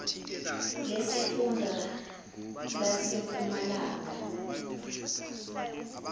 lesifun da lasempumalanga